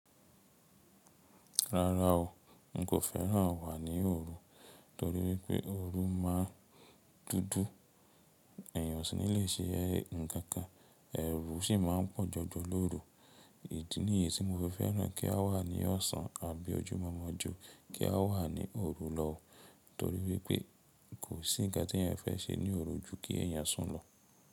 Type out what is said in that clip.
Rárá o, n kò féràn wà ní òru torí wípé òru máà dúdú, èèyàn sì ní le ṣe ẹ̀ ǹ kan kan, ẹrù sì máà ń pọ̀ jọjọ lóru. Ìdí ni yìí tí mo fi fẹ́ràn kí a wà ní ọ̀sán àbí ọjú mọ́mọ́ jù kí a wà ní òru lọ, torí wípé kò sí ǹkan tí èèyàn fẹ́ ṣe ní òru ju kí èèyàn sùn lọ.